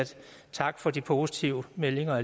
tak for de positive meldinger